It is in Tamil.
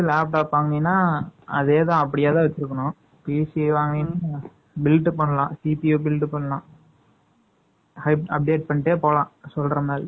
இது வந்து, laptop வாங்கலைன்னா, அதேதான், அப்படியேதான் வெச்சிருக்கணும் 7 . build பண்ணலாம். CP ய build பண்ணலாம். Update பண்ணிட்டே போலாம், சொல்ற மாதிரி